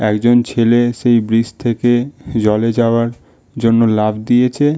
একজন ছেলে সেই ব্রিজ থেকে জলে যাওয়ার জন্য লাফ দিয়েছে--